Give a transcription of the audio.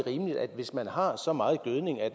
hvis man har så meget gødning at